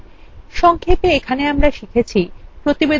সংক্ষেপে এখানে আমরা শিখেছি: